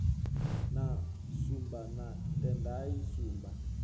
na shumba na tendai shumba